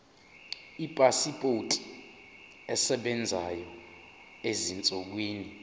ipasipoti esebenzayo ezinsukwini